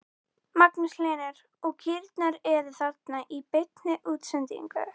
Magnús Hlynur: Og kýrnar eru þarna í beinni útsendingu?